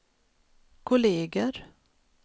kolleger